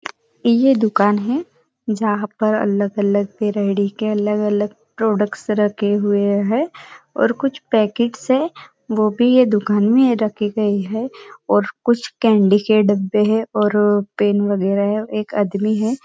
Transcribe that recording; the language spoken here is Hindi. यह दुकान है जहाँ पर अलग अलग वैरायटी के अलग अलग प्रोडक्ट्स रखे हुए है और कुछ पैकट्स है वो भी यह दुकान में रखे गए है और कुछ कैंडी के डब्बे है और पेन वेगारा है एक आदमी है।